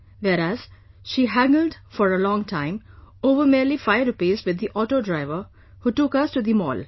Whereas, she haggled for a long time, over merely five rupees, with the auto driver, who took us to the mall